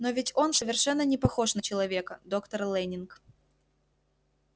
но ведь он совершенно не похож на человека доктор лэннинг